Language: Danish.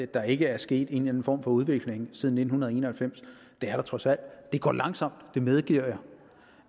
der ikke er sket en eller anden form for udvikling siden nitten en og halvfems det er der trods alt det går langsomt det medgiver jeg